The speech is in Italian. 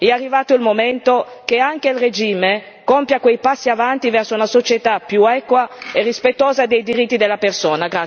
È arrivato il momento che anche il regime compia passi avanti verso una società più equa e rispettosa dei diritti della persona.